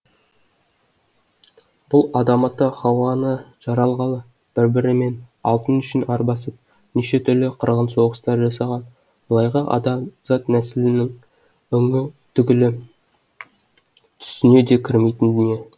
бұл адам ата хауа ана жаралғалы бір бірімен алтын үшін арбасып неше түрлі қырғын соғыстар жасаған былайғы адамзат нәсілінің өңі түгілі түсіне де кірмейтін дүние